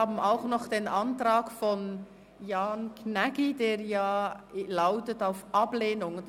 Ausserdem liegt der Antrag von Jan Gnägi auf Ablehnung vor.